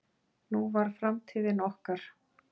Nú var framtíðin okkar.